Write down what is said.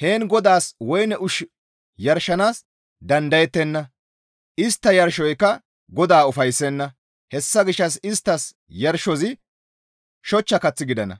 Heen GODAAS woyne ushshu yarshanaas dandayettenna; istta yarshoyka GODAA ufayssenna. Hessa gishshas isttas yarshozi shochcha kath gidana;